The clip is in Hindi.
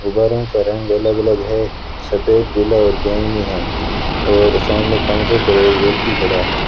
गुब्बारों का रंग अलग अलग है सफेद पीला और बैगनी है और सामने काउंटर पर एक व्यक्ति खड़ा है।